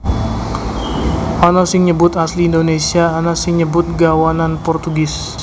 Ana sing nyebut asli Indonésia ana sing nyebut gawanan Portugis